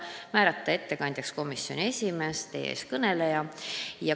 Ettekandjaks otsustati määrata komisjoni esimees ehk teie ees kõneleja.